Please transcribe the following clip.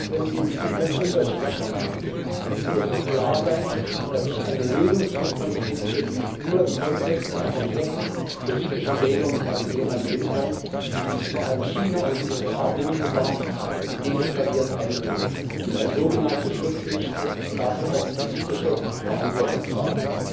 Auch wenn wir in diesem Punkt unterschiedlicher Meinung sind, es muss uns klar sein, dass sich eine Lösung dieses Konflikts nur im Kontext einer komplexen politischen Regelung in der Region ergeben kann, in die sich vor allem China und die USA unmittelbar und deeskalierend einbringen müssen und als so genannte Schutzmächte dafür auch politische Verantwortung tragen.